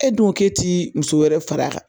E dun ko ke ti muso wɛrɛ far'a kan